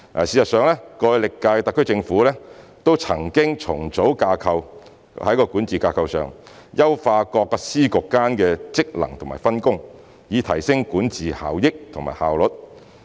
事實上，歷屆特區政府都曾經重組管治架構，在管治架構上優化各司局間的職能及分工，以提升管治效益和效率。